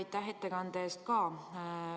Ja aitäh ettekande eest ka!